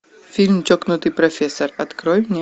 фильм чокнутый профессор открой мне